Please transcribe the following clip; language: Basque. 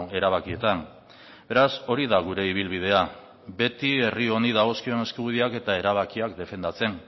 erabakietan beraz hori da gure ibilbidea beti herri honi dagokion eskubideak eta erabakiak defendatzen